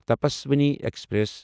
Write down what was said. Tapaswini express